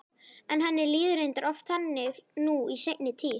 En henni líður reyndar oft þannig nú í seinni tíð.